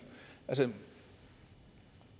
altså